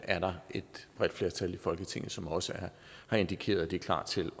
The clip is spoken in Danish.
er der et bredt flertal i folketinget som også har indikeret at det er klar til